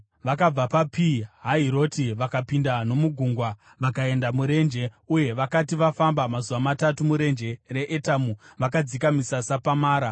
Vakabva paPi Hahiroti vakapinda nomugungwa vakaenda murenje, uye vakati vafamba mazuva matatu murenje reEtami, vakadzika misasa paMara.